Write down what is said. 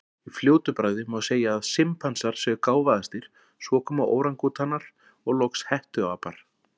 Í fljótu bragði má segja að simpansar séu gáfaðastir, svo koma órangútanar, og loks hettuapar.